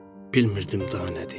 bilmirdim daha nədir.